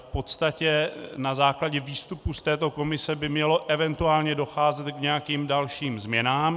V podstatě na základě výstupů z této komise by mělo eventuálně docházet k nějakým dalším změnám.